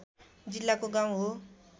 जिल्लाको गाउँ हो